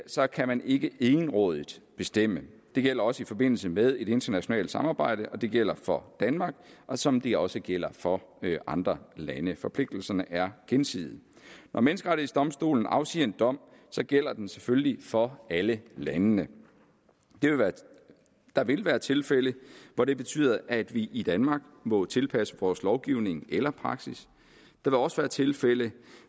så kan man ikke egenrådigt bestemme det gælder også i forbindelse med et internationalt samarbejde og det gælder for danmark som det også gælder for andre lande forpligtelserne er gensidige når menneskerettighedsdomstolen afsiger en dom gælder den selvfølgelig for alle landene der vil være tilfælde hvor det betyder at vi i danmark må tilpasse vores lovgivning eller praksis der vil også være tilfælde